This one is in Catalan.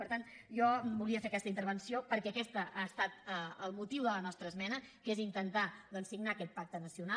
per tant jo volia fer aquesta intervenció perquè aquest ha estat el motiu de la nostra esmena que és intentar doncs signar aquest pacte nacional